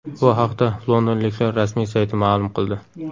Bu haqda londonliklar rasmiy sayti ma’lum qildi .